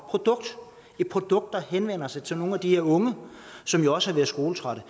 produkt et produkt der henvender sig til nogle af de her unge som jo også har været skoletrætte